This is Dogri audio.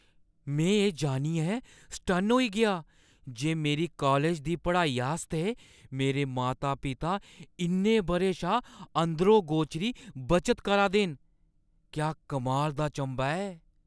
मैं एह् जानियै सटन्न होई गेआ जे मेरी कालज दी पढ़ाई आस्तै मेरे माता-पिता इन्ने बʼरें शा अंदरो-गोचरी बचत करा दे न। क्या कमाल दा चंभा ऐ!